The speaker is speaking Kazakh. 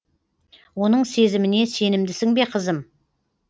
оның сезіміне сенімдісің бе қызым